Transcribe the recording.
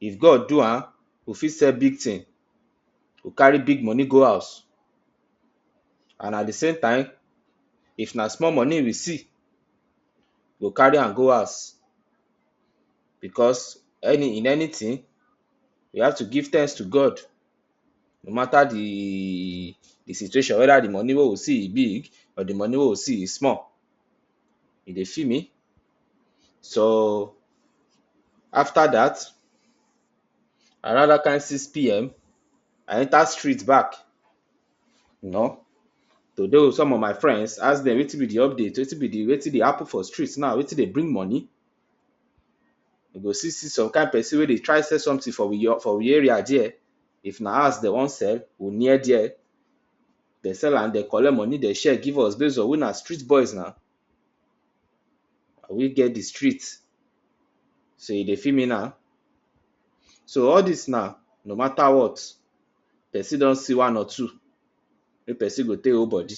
If God do am, we go fit sell big tin to carry big money go house and at the same time, if na small money we see, we go carry am go house because any in anything we have to give thanks to God. No matter theee the situation. Whether the money wey we see e big or the money wey we see e small, you dey feel me. So after dat, around dat kain six pm I enta street back, you know, to dey wit some of my friends. Ask dem wetin be the update, wetin be the, wetin dey happen for street now, wetin dey bring money. You go still see some kain person wey dey try sell something for we your for we area there. If na house dey wan sell, we near there, dey sell am, dey collect money, dey share give us base on we na street boys na, na we get the street. So you dey feel me now. So all dis na no matter what, person don see one or two, make person take hold bodi.